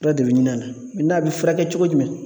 Fura de bɛ ɲini a la a bɛ furakɛ cogo jumɛn?